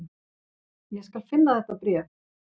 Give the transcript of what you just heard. """Ég skal finna þetta bréf,"""